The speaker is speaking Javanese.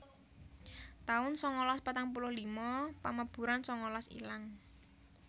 taun sangalas patang puluh lima Pamaburan sangalas ilang